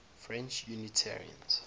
french unitarians